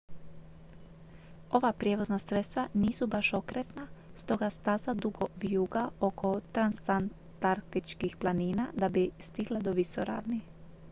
ova prijevozna sredstva nisu baš okretna stoga staza dugo vijuga oko transantarktičkih planina da bi stigla do visoravni